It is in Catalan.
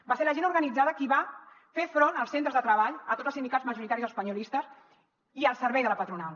va ser la gent organitzada qui va fer front als centres de treball a tots els sindicats majoritaris espanyolistes i al servei de la patronal